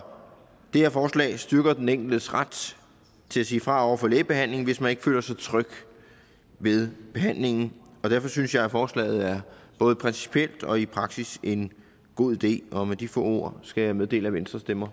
det her forslag styrker den enkeltes ret til at sige fra over for lægebehandling hvis man ikke føler sig tryg ved behandlingen og derfor synes jeg at forslaget både principielt og i praksis er en god idé og med de få ord skal jeg meddele at venstre stemmer